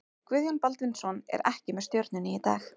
Guðjón Baldvinsson er ekki með Stjörnunni í dag.